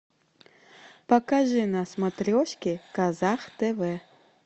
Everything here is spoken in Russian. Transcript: покажи на смотрешке казах тв